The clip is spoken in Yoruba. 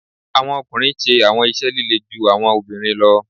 Awọn ọkunrin ṣe awọn iṣẹ lile ju awọn obinrin lọ